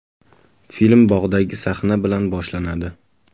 Film bog‘dagi sahna bilan boshlanadi.